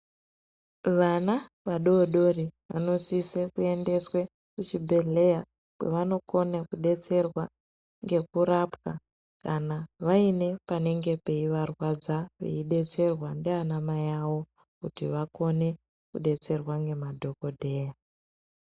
Vana vadodori vanosisisa kuendeswa kuchibhedhleya kwevanokona kudetserwa ngekurwapa kana vaine panenge peivarwadza veidetserwa ndivanamai avo kuti vakone kudetserwa nemadhokoteya.